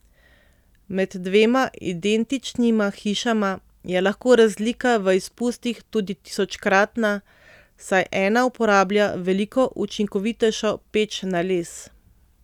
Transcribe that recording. Med dvema identičnima hišama je lahko razlika v izpustih tudi tisočkratna, saj ena uporablja veliko učinkovitejšo peč na les.